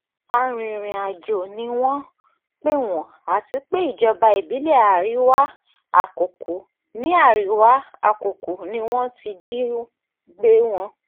arìnrìn-àjò ni wọ́n pè wọ́n àti pé ìjọba ìbílẹ̀ àríwá-àkókò ni àríwá-àkókò ni wọ́n ti jí gbé wọn